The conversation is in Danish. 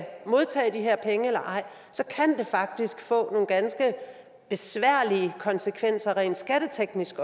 modtage de her penge eller ej så kan det faktisk få nogle ganske besværlige konsekvenser også rent skatteteknisk